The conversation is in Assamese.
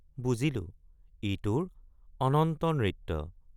বুজিলো ই তোৰ অনন্ত নৃত্য।